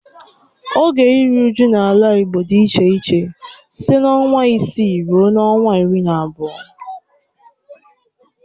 Oge iru uju n'ala igbo di iche iche site na ọnwa isii rue ọnwa iri na abụọ.